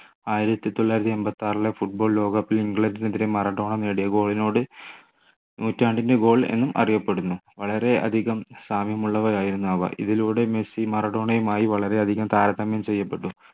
ആയിരത്തി തൊള്ളായിരത്തി എണ്പത്തിയാറിലെ football ലോക cup ൽ ഇംഗ്ലണ്ടിനെതിരെ മറഡോണ നേടിയ goal നോട് നൂറ്റാണ്ടിൻ്റെ goal എന്നും അറിയപ്പെടുന്നു വളരെയധികം സാമ്യമുള്ളവരായിരുന്നു അവ ഇതിലൂടെ മെസ്സി മറഡോണയുമായി വളരെയധികം താരതമ്യം ചെയ്യപ്പെട്ടു